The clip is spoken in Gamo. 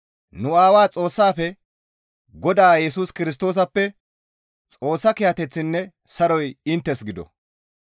nu Aawaa Xoossaafe Godaa Yesus Kirstoosappe Xoossa kiyateththinne saroy inttes gido.